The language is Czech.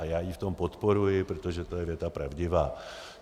A já ji v tom podporuji, protože to je věta pravdivá.